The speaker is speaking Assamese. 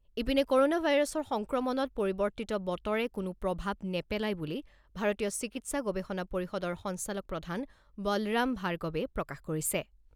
ইপিনে ক'ৰ'না ভাইৰাছৰ সংক্ৰমণত পৰিৱৰ্তিত বতৰে কোনো প্ৰভাৱ নেপেলায় বুলি ভাৰতীয় চিকিৎসা গৱেষণা পৰিষদৰ সঞ্চালকপ্ৰধান বলৰাম ভাৰ্গবে প্ৰকাশ কৰিছে।